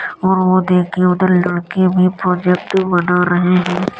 और वो देखिये उधर लड़की भी प्रोजेक्ट बना रही है।